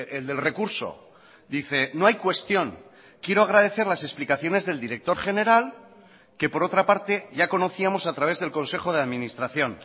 el del recurso dice no hay cuestión quiero agradecer las explicaciones del director general que por otra parte ya conocíamos a través del consejo de administración